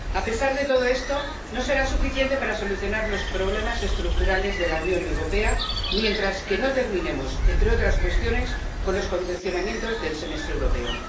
A pesar de todo esto, no será suficiente para solucionar los problemas estructurales de la Unión Europea, mientras no terminemos, entre otras cuestiones, con los condicionamientos del Semestre Europeo.